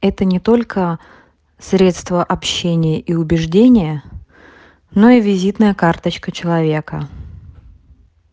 это не только средство общения и убеждения но и визитная карточка человека